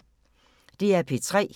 DR P3